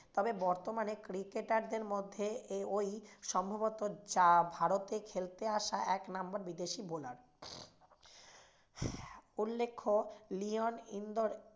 তবে বর্তমানে cricketer দের মধ্যে এই ওই সম্ভবত যা ভারতে খেলতে আসা এক নম্বর বিদেশি bowler উল্লেখ্য লিওন ইন্দোর